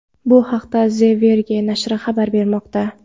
Bu haqda The Verge nashri xabar bermoqda .